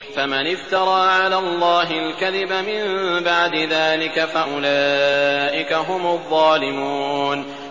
فَمَنِ افْتَرَىٰ عَلَى اللَّهِ الْكَذِبَ مِن بَعْدِ ذَٰلِكَ فَأُولَٰئِكَ هُمُ الظَّالِمُونَ